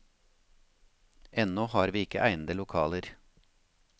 Ennå har vi ikke egnede lokaler.